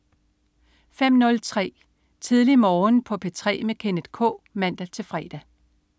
05.03 Tidlig Morgen på P3 med Kenneth K (man-fre)